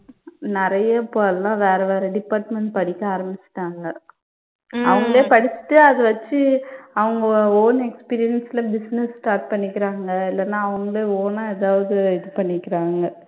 நிறைய இப்ப எல்லாம் வேற, வேற department படிக்கச் ஆரம்பிச்சிட்டாங்க அவங்களே படிச்சிட்டு அதை வச்சு அவங்க own experience ல business start பண்ணிக்கிறாங்க இல்லன்னா அவங்களே own ஆ ஏதாவது இது பண்ணிக்குறாங்க.